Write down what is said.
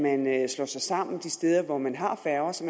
at man slår sig sammen de steder hvor man har færger så